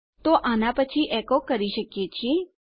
તો આના પછી આપણે એકો કરી શકીએ છીએ